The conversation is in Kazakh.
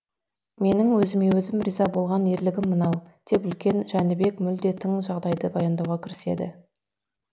менің өзіме өзім риза болған ерлігім мынау деп үлкен жәнібек мүлде тың жағдайды баяндауға кіріседі